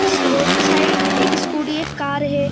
इस रोड के साइड एक स्कूटी एक कार है।